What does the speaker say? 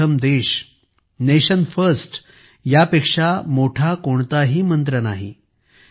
सर्वप्रथम देश nation first यापेक्षा मोठा कोणताही मंत्र नाही